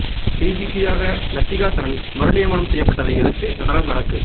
டிஜிபியாக லத்திகா சரண் மறு நியமனம் செய்யப்பட்டதை எதிர்த்து நடராஜ் வழக்கு